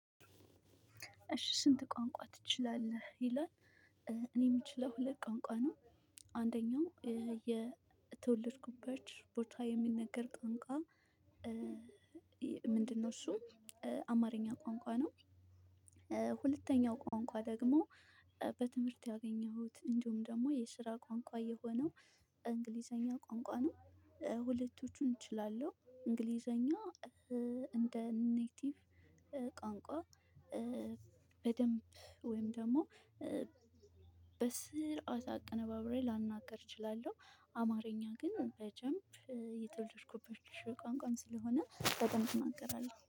እሽ ስንት ቋንቋ ትችላለህ ይላል? እኔ የምችለው ሁለት ቋንቋ ነው። አንደኛው የተወለድኩበት ቦታ የሚነገር ቋንቋ? ምንድን ነው እሱም አማርኛ ቋንቋ ነው። ሁለተኛው ቋንቋ ደግሞ በትምህርት ያገኘሁት እንዲሁም ደግሞ የስራ ቋንቋ የሆነው እንግሊዝኛ ቋንቋ ነው። ሁለቶቹን እችላለሁ እንግሊዘኛ እንደ ኔቲቭ ቋንቋ። በደንብ ወይም ደግሞ በስርዓት አቅነባብሬ ላልናገር እችላለሁ። አማርኛ ግን በደንብ የተወለድኩበት ቋንቋም ስለሆነ በደንብ እናገራለሁ